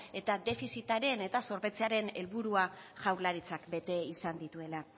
eta defizitaren eta zorpetzearen helburua jaurlaritzak bete izan dituela